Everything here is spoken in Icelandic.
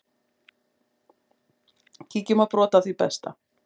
Kíkjum á brot af því besta.